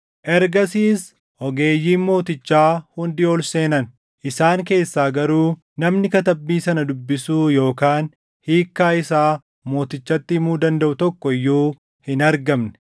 Ergasiis ogeeyyiin mootichaa hundi ol seenan; isaan keessaa garuu namni katabbii sana dubbisuu yookaan hiikkaa isaa mootichatti himuu dandaʼu tokko iyyuu hin argamne.